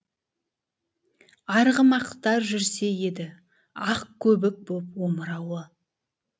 арғымақтар жүрсе еді ақ көбік боп омырауы